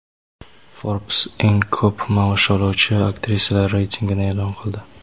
"Forbes" eng ko‘p maosh oluvchi aktrisalar reytingini e’lon qildi.